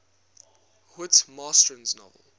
whit masterson's novel